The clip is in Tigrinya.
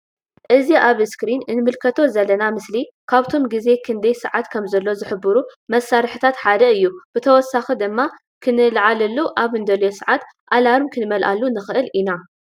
እዚ ኣብ እስክሪን እንምልከቶ ዘለና ምስሊ ካብቶም ግዜ ክንደይ ሰዓት ከምዘሎ ዝሕብሩ መሳርሕታት ሓደ እዩ ብተወሳኢ ድማ ክንልዓለሉ ኣብ እንደልዮ ሰዓት ኣላርም ክንመላሉ ንክእል ኢና።